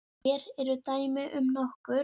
Hér eru dæmi um nokkur